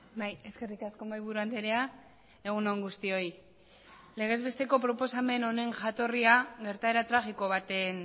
bai eskerrik asko mahaiburu andrea egun on guztioi legezbesteko proposamen honen jatorria gertaera tragiko baten